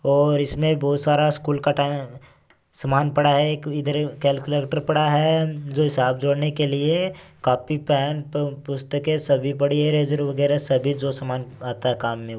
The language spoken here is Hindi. और इसमें बहुत सारा स्कूल का तै सामान पड़ा है एक इधर कैलकुलेटर पड़ा है जो हिसाब जोड़ने के लिए काफी पुस्तके पड़ी है लेजर वगेरा सब भी जो सामान आता है काम में--